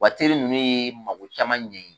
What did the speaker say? ninnu ye mago caman ɲɛ i ye